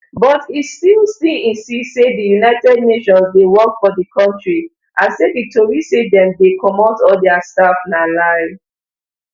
but e still still insist say di un dey work for di kontri and say di tori say dem dey comot all dia staff na lie